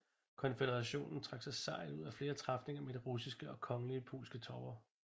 Konføderationen trak sig sejrrigt ud af flere træfninger med de russiske og kongelige polske tropper